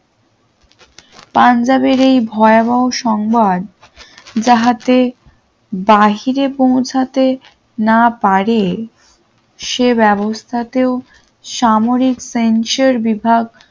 পাঞ্জাবের এই ভয়াবহ সংবাদ যাহাতে বাহিরে পৌঁছাতে না পারে সে ব্যবস্থাতেও সামরিক সেন্সর বিভাগ